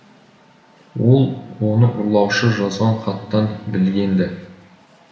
ол оны ұрлаушы жазған хаттан білген ді